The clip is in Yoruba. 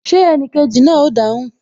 Ṣé enikeji náà o dáhùn?